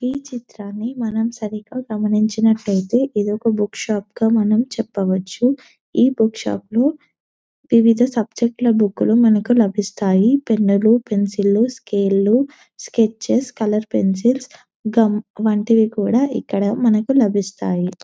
ఈ చిత్రాన్ని మనం సరిగా గమనించినట్టయితే ఇది ఒక బుక్ షాప్ గా మనం చెప్పవచు ఈ బుక్ షాప్ ను వివిధ సబ్జెక్టు లా బూకులు మనకు లభిస్తాయి పెన్లు పెన్సిల్స్ లు స్కేల్ లు స్కెచెస్ లు కలర్ పెన్సిల్స్ గుమ్ వంటివి కూడా ఇక్కడ మనకు లభిస్తాయి .